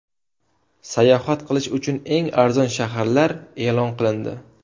Sayohat qilish uchun eng arzon shaharlar e’lon qilindi.